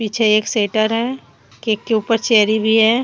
पीछे एक शटर है केक के ऊपर चेरी भी है ।